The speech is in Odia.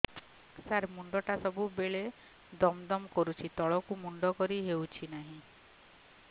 ସାର ମୁଣ୍ଡ ଟା ସବୁ ବେଳେ ଦମ ଦମ କରୁଛି ତଳକୁ ମୁଣ୍ଡ କରି ହେଉଛି ନାହିଁ